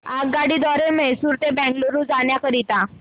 आगगाडी द्वारे मैसूर ते बंगळुरू जाण्या करीता